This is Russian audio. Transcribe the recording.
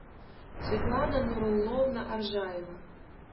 светлана нурулловна аржаева